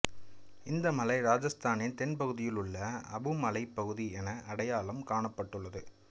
இந்த மலை ராஜஸ்தானின் தென்பகுதியில் உள்ள அபு மலைப்பகுதி என அடையாளம் காணப்பட்டுள்ளது